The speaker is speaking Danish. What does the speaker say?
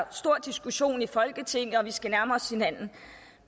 stor diskussion i folketinget og at vi skal nærme os hinanden